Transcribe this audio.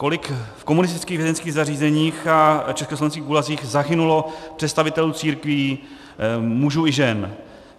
Kolik v komunistických vězeňských zařízeních a československých gulazích zahynulo představitelů církví, mužů i žen?